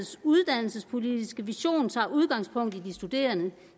uddannelsespolitiske vision tager udgangspunkt i de studerende